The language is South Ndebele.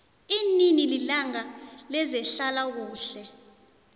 linini ilanga lezehlala kuhle